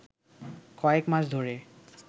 কয়েক মাস ধরে